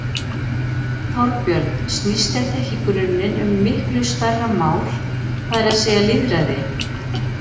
Þorbjörn: Snýst þetta ekki í grunninn um miklu stærra mál, það er að segja lýðræði?